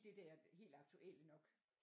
Det der helt aktuelle nok